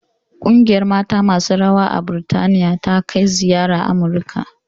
Ƙungiyar mata masu rawa ta Birtaniya ta kai ziyara Amurika